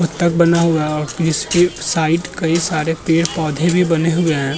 बतख बना हुआ और इसकी साइड कई सारे पेड़-पौधे भी बने हुए हैं।